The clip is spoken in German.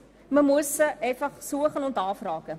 Man muss sie einfach suchen und anfragen.